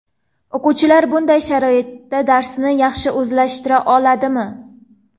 O‘quvchilar bunday sharoitda darsni yaxshi o‘zlashtira oladimi?